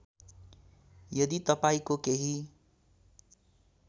यदि तपाईँको केही